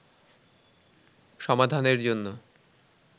সমাধানের জন্য